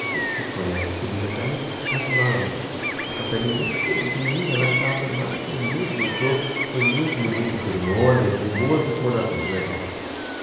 Não sei se vocês conhecem, subindo a Serrinha, lá tem uma, uma capelinha bonitinha, pequenininha lá e tal, tudo mais, foi muito gostoso, foi muito bonita a cerimônia, eu tenho boas recordações, legal.